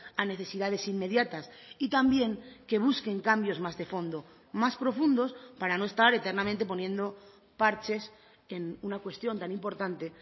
a necesidades inmediatas y también que busquen cambios más de fondo más profundos para no estar eternamente poniendo parches en una cuestión tan importante